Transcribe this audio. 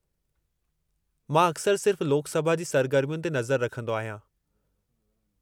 मां अक्सरि सिर्फ़ु लोक सभा जी सरगर्मियुनि ते नज़र रखंदो आहियां।